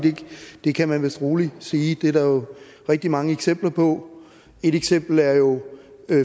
det kan man vist roligt sige det er der jo rigtig mange eksempler på et eksempel er jo